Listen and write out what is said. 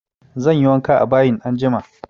Zanyi wanka a bayin anjima